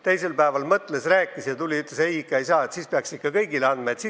Ta mõtles ja tuli mulle teisel päeval ütlema, et ei, nii ikka ei saa, siis peaks ikka kõigile topeltkodakondsuse andma.